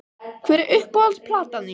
Hver er uppáhalds platan þín??